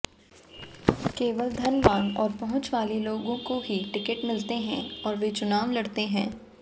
केवल धनवान और पहुंचवाले लोगों को ही टिकट मिलते हैं और वे चुनाव लड़ते हैं